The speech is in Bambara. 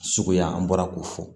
Suguya an bɔra k'o fɔ